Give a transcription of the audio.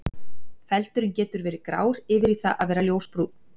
Feldurinn getur verið grár yfir í það að vera ljósbrúnn.